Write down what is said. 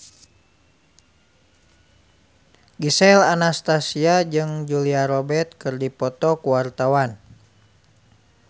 Gisel Anastasia jeung Julia Robert keur dipoto ku wartawan